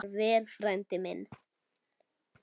Far vel, frændi minn.